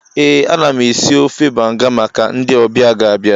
Ee, ana m esi ofe banga maka ndị ọbịa ga-abịa